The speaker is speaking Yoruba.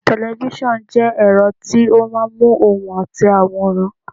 Tẹ̀lifísàn jẹ́ ẹ̀rọ tí ó máa ń móhùn àti àwòrán